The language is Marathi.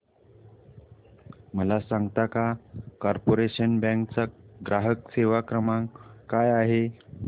मला सांगता का कॉर्पोरेशन बँक चा ग्राहक सेवा क्रमांक काय आहे